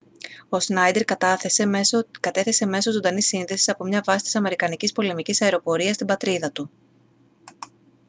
ο σνάιντερ κατέθεσε μέσω ζωντανής σύνδεσης από μια βάση της αμερικανικής πολεμικής αεροπορίας στην πατρίδα του